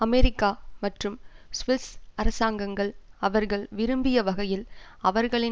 America மற்றும் Swiss அரசாங்கங்கள் அவர்கள் விரும்பிய வகையில் அவர்களின்